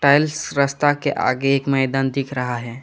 रास्ता के आगे एक मैदान दिख रहा है।